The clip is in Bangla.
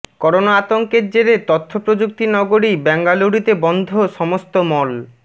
করোনা আতঙ্কের জেরে তথ্যপ্রযুক্তি নগরী বেঙ্গালুরুতে বন্ধ সমস্ত মল